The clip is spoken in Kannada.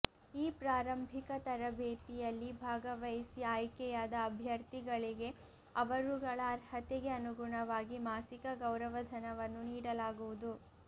ಈ ಪ್ರಾರಂಭಿಕ ತರಬೇತಿಯಲ್ಲಿ ಭಾಗವಹಿಸಿ ಆಯ್ಕೆಯಾದ ಅಭ್ಯರ್ಥಿಗಳಿಗೆ ಅವರುಗಳ ಅರ್ಹತೆಗೆ ಅನುಗುಣವಾಗಿ ಮಾಸಿಕ ಗೌರವಧನವನ್ನು ನೀಡಲಾಗುವುದು